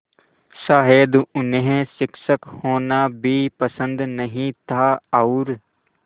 शायद उन्हें शिक्षक होना भी पसंद नहीं था और